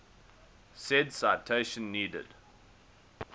said citation needed